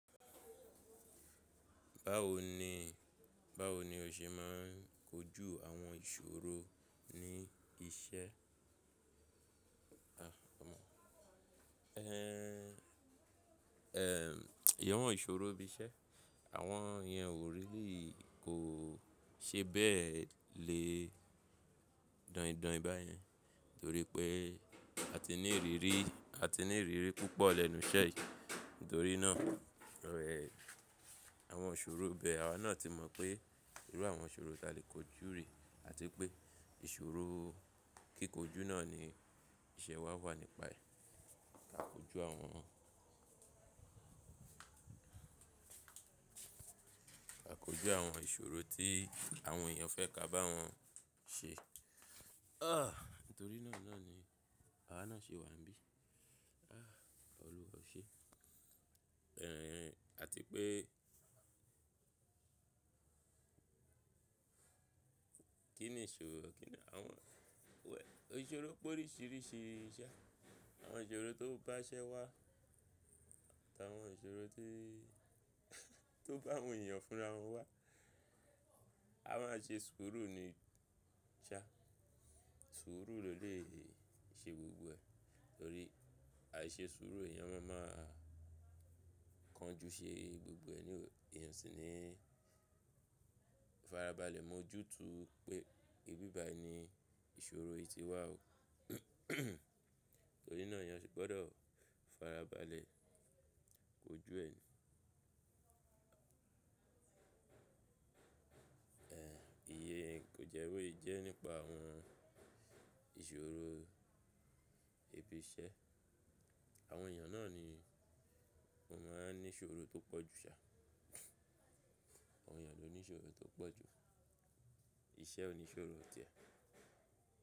Báwo ni, báwo ni o ṣe máà n kojú àwọn ìṣòrò ní iṣẹ́? Ehn, ehn, ẹyọ̀wọn ìṣòro ibi iṣẹ́ àwọn èèyàn wò rí lì kò ṣe bẹ́ẹ̀ lè dọ̀ìdọ̀ì báyẹn torí pé a ti ní ìrírí, a ti ní ìrírí púpọ̀ lẹ́nu iṣẹ́ yìí. Nítorí náà, rẹ̀ àwọn ìṣòrò bẹ, àwa náà ti mọ̀ pé irú àwọn ìṣòro ta lè kojú rí àti pé ìṣòrò. Kíkójú náà ni iṣẹ́ wa wà nípa ẹ̀. Ká kojú àwọn, ka kojú àwọn ìṣòrò tí àwọn èèyàn fẹ́ ka bá wọn ṣe. Ah, nítorí náà ni àwá náà ṣe wà níbí. Ah, Ọlọ́run o ṣe. Ehn, àti pé Kí ni ìṣòrò? Kí ni àwọn wẹ̀, ìṣòro pé oríṣìíríṣìí iṣẹ́. Àwọn ìṣòrò tó bá iṣẹ́ wa àti àwọn ìṣòro tó, tó bá àwọn èèyàn fún rá wọn wá. A máà ṣe sùúrù ní iṣẹ́. Sùúrù ló lè ṣe gbógbó ẹ̀ torí àìṣe sùúrù èèyàn má a má a kánjú ṣe gbogbo ẹ̀ ní, èèyàn sì ní farabalẹ̀ mọ́ ojútùú pé ìbíbà ẹ ni ìṣòrò yìí ti wá o. Torí náà èèyàn sì gbọ́dọ̀ farabalẹ̀ kojú ẹ̀ ni. Eh, iye kò jẹ́ wí jẹ́ nípa àwọn ìṣòrò ibi iṣẹ́. Àwọn èèyàn náà ni ó máa ń ní ìṣòrò tó pọ̀ jù ṣá. Àwọn èèyàn ló ní ìṣòrò tó pọ̀ jù. Iṣẹ́ ò ní ìṣòrò tìẹ̀.